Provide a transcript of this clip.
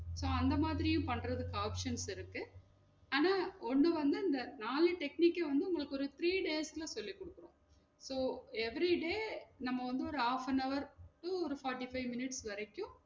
ஆஹ் அந்த மாதிரியும் பண்றதுக்கு options இருக்கு ஆனா ஒன்னு வந்து இந்த நாலு technique உம் வந்து உங்களுக்கு ஒரு three days ல சொல்லி குடுத்திருவோம் so everyday நம்ம வந்து ஒரு half an hour to ஒரு forty-five minutes வரைக்கும்